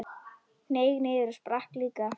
Hneig niður og sprakk líka.